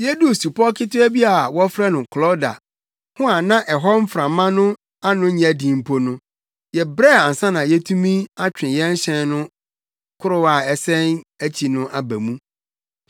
Yeduu supɔw ketewa bi a wɔfrɛ no Klauda ho a na ɛhɔ mframa ano nyɛ den mpo no, yɛbrɛɛ ansa na yɛretumi atwe hyɛn no korow a ɛsɛn akyi no aba mu.